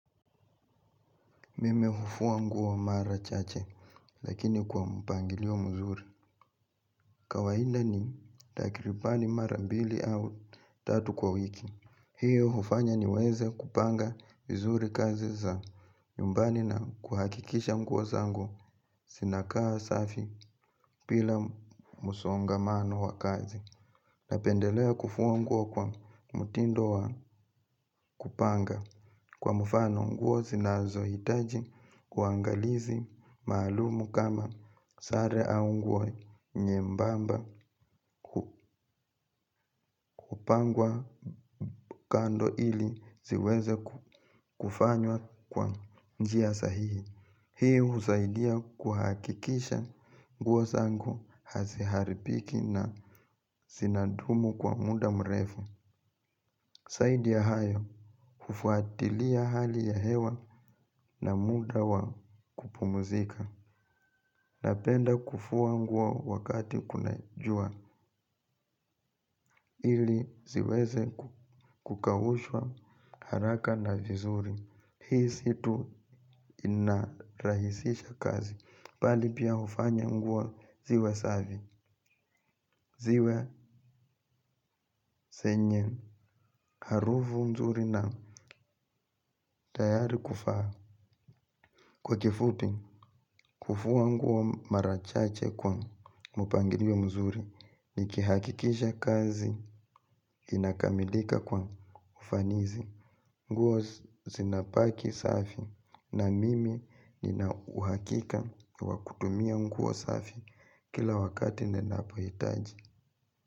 Mimi hufua nguo mara chache, lakini kwa mpangilio mzuri. Kawaida ni takribani mara mbili au tatu kwa wiki. Hiyo hufanya ni weze kupanga vizuri kazi za nyumbani na kuhakikisha nguo zangu zinakaa safi bila msongamano wa kazi. Napendelea kufua nguo kwa mtindo wa kupanga. Kwa mfano nguo zinazohitaji uangalizi maalumu kama sare au nguo nyembamba kupangwa kando ili ziweze kufanywa kwa njia sahihi. Hii husaidia kuhakikisha nguo zangu haziharibiki na zinadumu kwa muda mrefu. Zaidi ya hayo kufuatilia hali ya hewa na muda wa kupumuzika napenda kufua nguo wakati kuna jua ili ziweze kukaushwa haraka na vizuri. Hii si tu inarahisisha kazi bali pia hufanya nguo ziwe safi. Ziwe zenye harufu nzuri na tayari kuvaa. Kwa kifupi, kufua nguo mara chache kwa mpangilio mzuri nikihakikisha kazi inakamilika kwa ufanisi. Nguo zinabaki safi na mimi nina uhakika wa kutumia nguo safi kila wakati ninapohitaji.